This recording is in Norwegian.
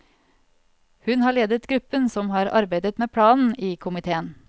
Hun har ledet gruppen som har arbeidet med planen i komitéen.